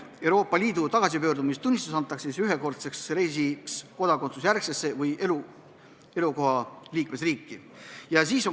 Euroopa Liidu tagasipöördumistunnistus antakse ühekordseks reisiks kodakondsusjärgsesse või elukoha liikmesriiki.